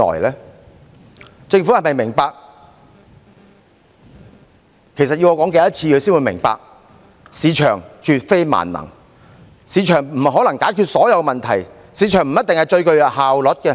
其實，政府要我說多少次才會明白，市場絕非萬能，市場不可能解決所有問題，市場不一定是最具效率的。